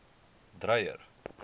dreyer